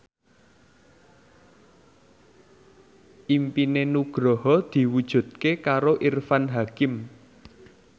impine Nugroho diwujudke karo Irfan Hakim